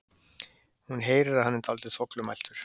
Hún heyrir að hann er dálítið þvoglumæltur.